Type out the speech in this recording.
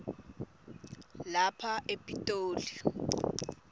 lapha e pitoli